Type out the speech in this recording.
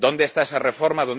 ¿Dónde está esa reforma?